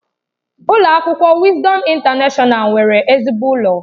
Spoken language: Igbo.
Ụlọ akwụkwọ Wisdom Intanashọnal nwere ezigbo ụlọ.